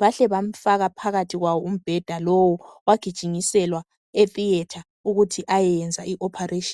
bahle abamfaka phakathi kwawo umbheda lowo wagijinyiselwa etheater ukuthi ayehlinzwa.